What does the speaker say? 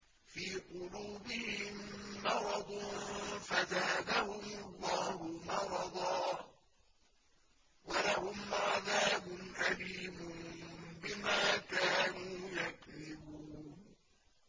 فِي قُلُوبِهِم مَّرَضٌ فَزَادَهُمُ اللَّهُ مَرَضًا ۖ وَلَهُمْ عَذَابٌ أَلِيمٌ بِمَا كَانُوا يَكْذِبُونَ